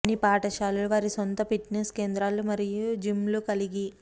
కొన్ని పాఠశాలలు వారి సొంత ఫిట్నెస్ కేంద్రాలు మరియు జిమ్లు కలిగి